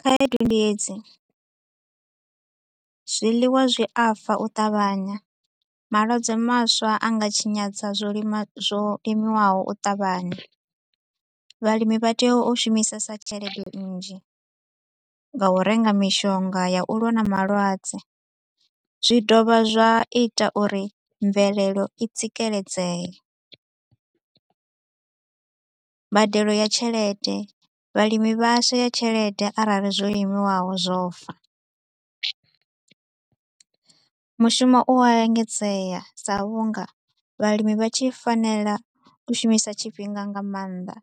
Khaedu ndi hedzi. Zwiḽiwa zwi a fa u ṱavhanya, malwadze maswa a nga tshinyadza zwo lima zwo limiwaho u ṱavhanya. Vhalimi vha tea u shumisesa tshelede nnzhi nga u renga mishonga ya u lwa na malwadze, zwi dovha zwa ita uri mvelelo i tsikeledzee. Mbadelo ya tshelede, vhalimi vha a shaya tshelede arali zwo limiwaho zwo fa. Mushumo u a engedzea sa vhu nga vhalimi vha tshi fanela u shumisa tshifhinga nga maanḓa